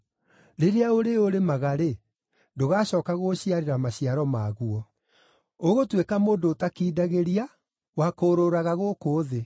Rĩrĩa ũrĩũrĩmaga-rĩ, ndũgacooka gũgũciarĩra maciaro maguo. Ũgũtuĩka mũndũ ũtakindagĩria, wa kũũrũũraga gũkũ thĩ.”